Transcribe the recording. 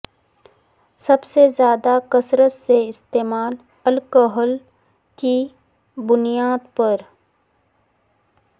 سب سے زیادہ کثرت سے استعمال الکحل کی بنیاد پر